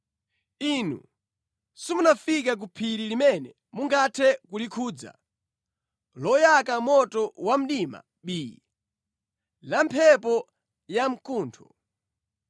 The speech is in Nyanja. Inu simunafike ku phiri limene mungathe kulikhudza, loyaka moto wa mdima bii, la mphepo yamkuntho;